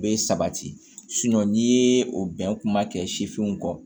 Bɛ sabati n'i ye o bɛn kuma kɛ sifinw kɔ